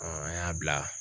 Ɔn an y'a bila